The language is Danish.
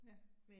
Ja